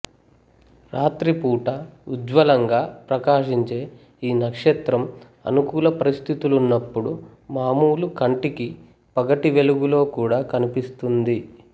రాత్రి పూట ఉజ్వలంగా ప్రకాశించే ఈ నక్షత్రం అనుకూల పరిస్థితులున్నప్పుడు మామూలు కంటికి పగటి వెలుగులో కూడా కనిపిస్తుంది